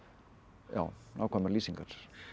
já nákvæmar lýsingar